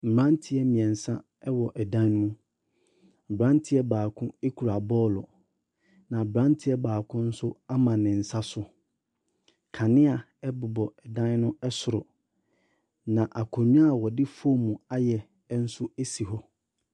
Mmranteɛ mmiɛnsa ɛwɔ ɛdan mu. Abranteɛ baako ekura bɔɔlo. Na abranteɛ baako nso ama ne nsa so. Kanea ɛbobɔ ɛdan no ɛsoro. Na akonwa a wɔde fom ayɛ nso esi hɔ.